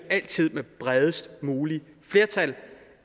med bredest muligt flertal